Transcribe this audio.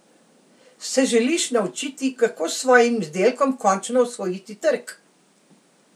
Se želiš naučiti, kako s svojim izdelkom končno osvojiti trg?